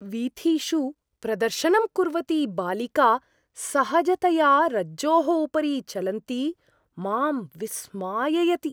वीथिषु प्रदर्शनं कुर्वती बालिका सहजतया रज्जोः उपरि चलन्ती मां विस्माययति।